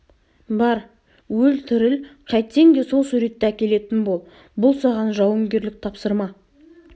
бар өлтіріл қайтсең де сол суретті әкелетін бол бұл саған жауынгерлік тапсырма